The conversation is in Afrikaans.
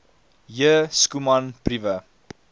j schoeman briewe